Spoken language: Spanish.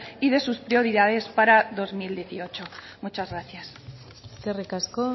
y de sus prioridades para dos mil dieciocho muchas gracias eskerrik asko